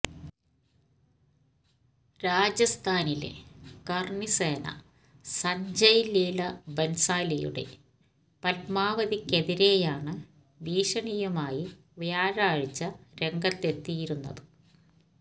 രാജസ്ഥാനിലെ കര്ണിസേന സഞ്ജയ് ലീല ബന്സാലിയുടെ പത്മാവതിക്കെതിരെയാണ് ഭീഷണിയുമായി വ്യാഴാഴ്ച രംഗത്തെത്തിയിരുന്നത്